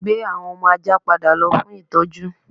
Gbé àwọn ọmọ ajá padà lọ fún ìtọ́jú